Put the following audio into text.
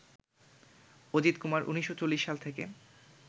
অজিতকুমার ১৯৪০ সাল থেকে